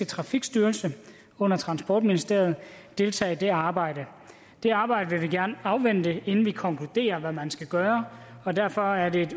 trafikstyrelsen under transportministeriet deltager i det arbejde det arbejde vil vi gerne afvente inden vi konkluderer hvad man skal gøre derfor er det